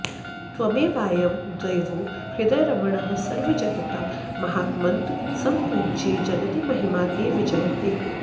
त्वमेवायं देवो हृदयरमणः सर्वजगतां महात्मन्त्सम्पूज्ये जगति महिमा ते विजयते